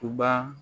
U ba